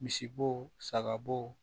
Misibo saga bo